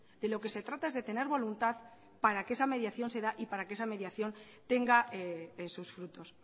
de lo que se trata es de tener voluntad para que esa mediación se da y para que esa mediación tenga sus frutos